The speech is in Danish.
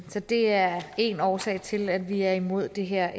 så det er en årsag til at vi er imod det her